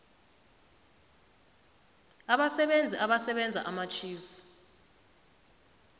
abasebenzi abasebenza amatjhifu